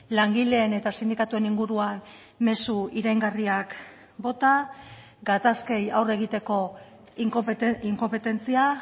langileen eta sindikatuen inguruan mezu iraingarriak bota gatazkei aurre egiteko inkonpetentzia